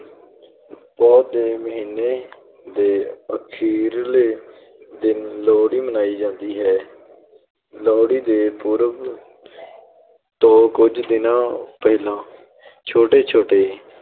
ਪੋਹ ਦੇ ਮਹੀਨੇ ਦੇ ਅਖ਼ੀਰਲੇ ਦਿਨ ਲੋਹੜੀ ਮਨਾਈ ਜਾਂਦੀ ਹੈ ਲੋਹੜੀ ਦੇ ਪੁਰਬ ਤੋਂ ਕੁੱਝ ਦਿਨ ਪਹਿਲਾਂ ਛੋਟੇ ਛੋਟੇ